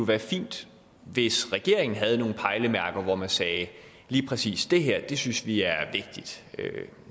være fint hvis regeringen havde nogle pejlemærker hvor man sagde at lige præcis det her synes vi er vigtigt